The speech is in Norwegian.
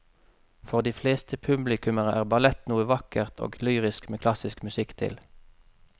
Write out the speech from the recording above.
For de fleste publikummere er ballett noe vakkert og lyrisk med klassisk musikk til.